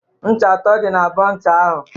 Ncha atọ dị n'abọ ncha ahụ.